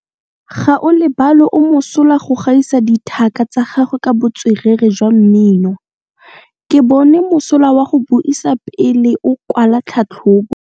Gaolebalwe o mosola go gaisa dithaka tsa gagwe ka botswerere jwa mmino. Ke bone mosola wa go buisa pele o kwala tlhatlhobô.